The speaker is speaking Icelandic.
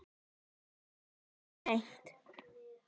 Ég stökk of seint.